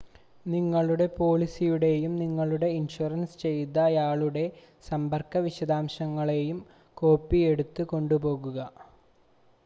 നിങ്ങളുടെ പോളിസിയുടെയും നിങ്ങളെ ഇൻഷ്വർ ചെയ്തയാളുടെ സമ്പർക്ക വിശദാംശങ്ങളുടെയും കോപ്പി എടുത്ത് കൊണ്ടുപോകുക